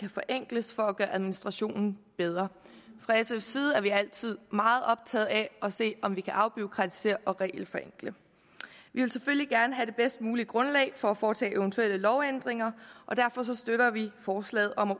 forenkles for at gøre administration bedre fra sfs side er vi altid meget optaget af at se om vi kan afbureaukratisere og regelforenkle vi vil selvfølgelig gerne have det bedst mulige grundlag for at foretage eventuelle lovændringer og derfor støtter vi forslaget om at